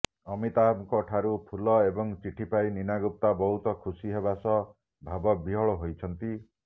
ଅମିତାଭଙ୍କ ଠାରୁ ଫୁଲ ଏବଂ ଚିଠି ପାଇ ନୀନା ଗୁପ୍ତା ବହୁତ ଖୁସି ହେବାସହ ଭାବବିହ୍ୱଳ ହୋଇଛନ୍ତି